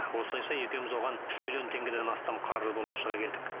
осылайша екеуміз оған үш миллион теңгеден астам қарыз болып шыға келдік